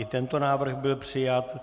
I tento návrh byl přijat.